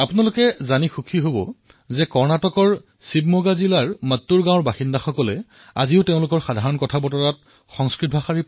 আপোনালোকে জানি আনন্দিত হব যে কৰ্ণাটক ৰাজ্যৰ শিৱমোগা জিলাত মট্টুৰ গাঁৱৰ বাসিন্দাসকলে আজিও সংস্কৃতত কথাবতৰা পাতে